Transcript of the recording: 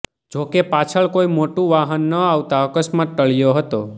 જોકે પાછળ કોઈ મોટું વાહન ન આવતા અકસ્માત ટળ્યો હતો